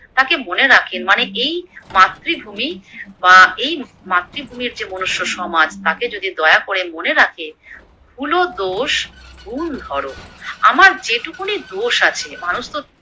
তাকে মনে রাখেন মানে এই মাতৃভূমি বা এই মাতৃভূমির যে মনুষ্য সমাজ তাকে যদি দয়া করে মনে রাখে। ভুল, দোষ, গুণ ধর, আমার যেটুকুনি দোষ আছে মানুষতো